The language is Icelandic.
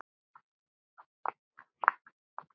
Þetta voru góð ár.